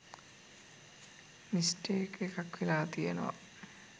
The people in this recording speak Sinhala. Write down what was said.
මිස්ටේක් එකක් වෙලා තියෙනව